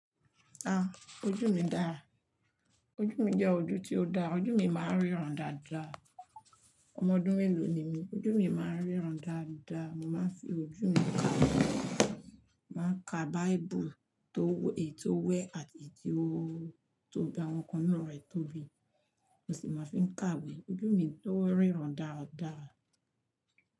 Ah! Ojú mi dára, ojú mi je ojú tí ó dára, ojú mi máa ń ríran dáadáa. Ọmọ ọdún mélòó ni mí, ojú mi máa ń ríran dáadáa. Mo máa ń fi ojú mi kàwé, máa ń ka Bible tó w-- èyí tó wẹ̀ àti èyí tí ó gbogbo àwọn nkan inú rẹ̀ tóbi, mó sì máa fi n kàwé. Ojú mi tó ń ríran dáadáa.